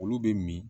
Olu bɛ min